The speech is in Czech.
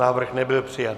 Návrh nebyl přijat.